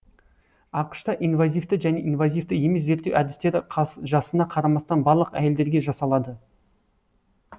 ақш та инвазивті және инвазивті емес зерттеу әдістері жасына қарамастан барлық әйелдерге жасалады